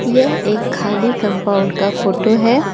यह एक खाली कंपाउंड का फोटो है।